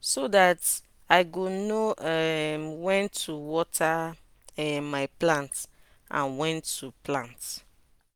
so dat i go know um wen to water um my plants and wen to plant